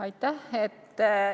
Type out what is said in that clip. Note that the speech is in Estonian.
Aitäh!